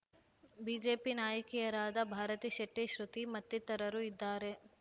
BJP ನಾಯಕಿಯರಾದ ಭಾರತಿ ಶೆಟ್ಟಿ ಶೃತಿ ಮತ್ತಿತರರು ಇದ್ದಾರೆ